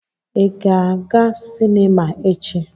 Ị ga-aga sinima echi?